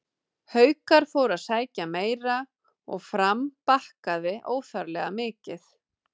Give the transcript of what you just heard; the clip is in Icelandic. Haukar fóru að sækja meira og Fram bakkaði óþarflega mikið.